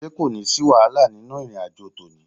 Ṣé kò ní sí wàhálà nínú ìrìn àjò tòní?